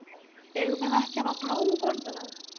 Eigum við ekki að hafa blóm á borðinu?